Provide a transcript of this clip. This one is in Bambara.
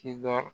Kisaa